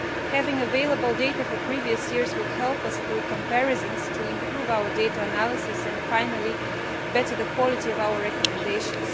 Having available data for previous years will help us, through comparisons, to improve our data analysis and finally improve the quality of our recommendations.